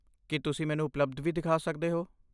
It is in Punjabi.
ਕੀ ਤੁਸੀਂ ਮੈਨੂੰ ਉਪਲਬਧ ਵੀ ਦਿਖਾ ਸਕਦੇ ਹੋ?